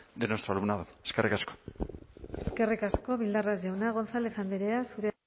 de nuestro alumnado eskerrik asko eskerrik asko bildarratz jauna gonzález andrea zurea